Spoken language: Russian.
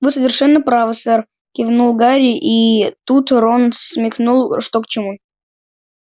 вы совершенно правы сэр кивнул гарри и тут рон смекнул что к чему